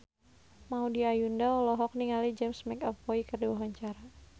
Maudy Ayunda olohok ningali James McAvoy keur diwawancara